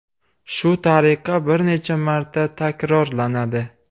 Shu tariqa bir necha marta takrorlanadi.